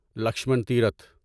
Lakshman Tirth